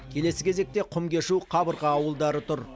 келесі кезекте құмкешу қабырға ауылдары тұр